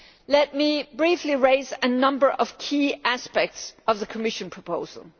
Let me briefly raise a number of key aspects of the Commission proposal.